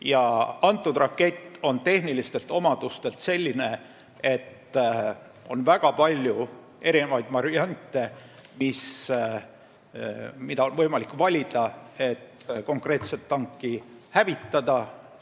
Ja kõnealune rakett on tehnilistelt omadustelt selline, et on võimalik valida väga paljude variantide vahel, kuidas konkreetset tanki hävitada.